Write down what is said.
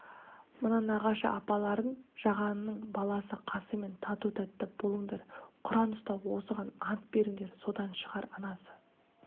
мына нағашы апаларың жағанның баласы қасыммен тату-тәтті болыңдар құран ұстап осыған ант беріңдер содан шығар анасы